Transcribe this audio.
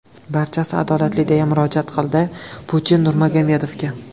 Barchasi adolatli”, deya murojaat qildi Putin Nurmagomedovga.